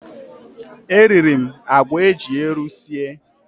E riri m àgwà eji ero sie.